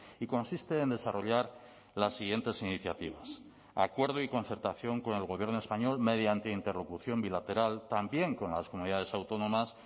y consiste en desarrollar las siguientes iniciativas acuerdo y concertación con el gobierno español mediante interlocución bilateral también con las comunidades autónomas